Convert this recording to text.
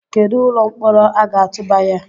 Kedu ụlọ mkpọrọ a ga-atụba ya?